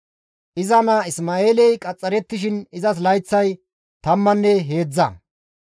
Iza naa Isma7eeley qaxxarettishin izas layththay tammanne heedzdza.